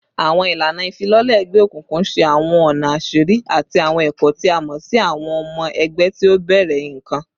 Awọn ilana ifilọlẹ egbeokunkun ṣe awọn ọna aṣiri ati awọn ẹkọ ti a mọ si awọn ọmọ ẹgbẹ ti o bẹrẹ nikan